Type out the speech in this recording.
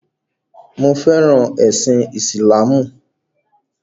Mo fẹràn ẹ̀sìn ìsìláàmù.